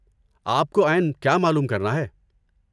آپ کو عین کیا معلوم کرنا ہے؟